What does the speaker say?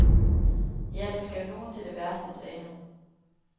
Ja, der skal jo nogen til det værste, sagde han.